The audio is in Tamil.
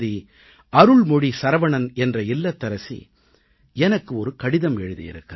அருள்மொழி சரவணன் என்ற இல்லத்தரசி எனக்கு ஒரு கடிதம் எழுதியிருக்கிறார்